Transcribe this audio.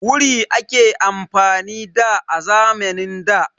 Wuri ake amfani da, a zamanin da.